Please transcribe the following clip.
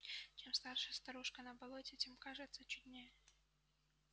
чем старше старушка на болоте тем кажется чуднее